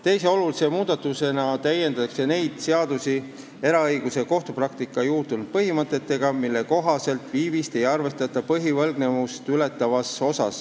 Teise olulise muudatusena täiendatakse neid seadusi eraõiguses ja kohtupraktikas juurdunud põhimõtetega, mille kohaselt ei arvestata viivist põhivõlgnevust ületavas osas.